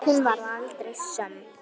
Hún varð aldrei söm.